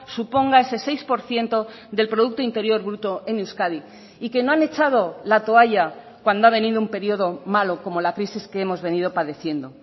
suponga ese seis por ciento del producto interior bruto en euskadi y que no han echado la toalla cuando ha venido un periodo malo como la crisis que hemos venido padeciendo